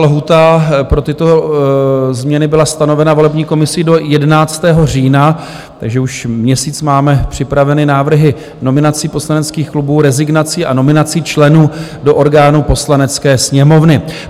Lhůta pro tyto změny byla stanovena volební komisí do 11. října, takže už měsíc máme připraveny návrhy nominací poslaneckých klubů, rezignací a nominací členů do orgánů Poslanecké sněmovny.